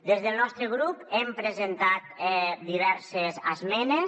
des del nostre grup hem presentat diverses esmenes